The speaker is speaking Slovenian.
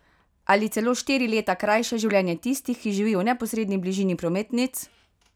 Ali celo štiri leta krajše življenje tistih, ki živijo v neposredni bližini prometnic?